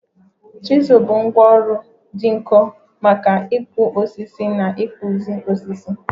Chizul bụ ngwá ọrụ dị nkọ maka ịkpụ osisi na ịkpụzi osisi